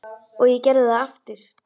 Og ég gerði það aftur.